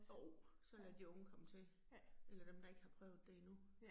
Jo, så lad de unge komme til. Eller dem, der ikke har prøvet det endnu